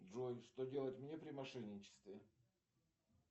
джой что делать мне при мошенничестве